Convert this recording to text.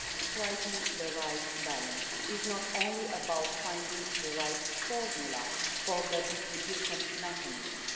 Striking the right balance is not only about finding the right formula for the distribution mechanism.